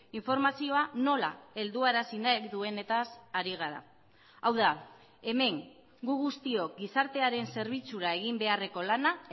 informazioa nola helduarazi nahi duenetaz ari gara hau da hemen gu guztiok gizartearen zerbitzura egin beharreko lana